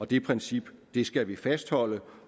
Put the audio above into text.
det princip skal vi fastholde